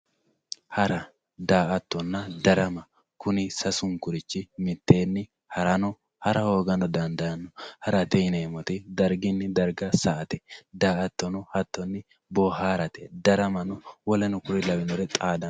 Hara daa`atona darama kuni sasunkurichi miteeni harano hara hoogano dandaano harate yinemori dargini darga sa`ate daa`atono jattoni xaadate darama hatono w.k.l.